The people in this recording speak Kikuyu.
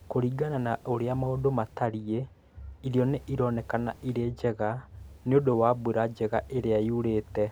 Kũringana na ũrĩa maũndũ matariĩ, irio nĩ ironeka irĩ njega nĩ ũndũ wa mbura njega ĩrĩa yurĩte